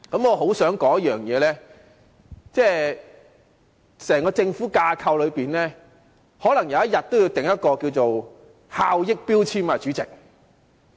我想說一點，就是在整個政府架構內，可能有一天也要設立效益標籤制度，主席。